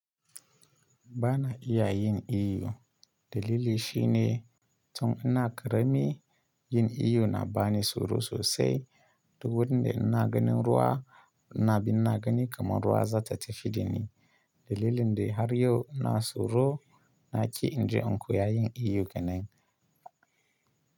Ba na iya yin iyo. Dalili shi ne tun ina ƙarami yin iyo na bani tsoro sosai. Duk wurin da ina ganin ruwa na bi ina gani kamar ruwa za ta tafi dani. Dalilin dai har yau ina tsoro na ki in je in koya yin iyo kenan.